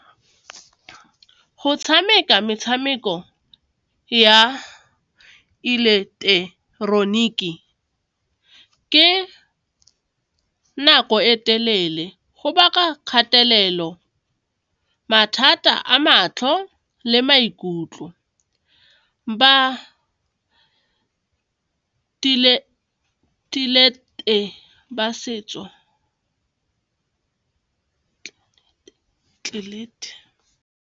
Go tshameka metshameko ya ke nako e telele go baka kgatelelo, mathata a matlho le maikutlo .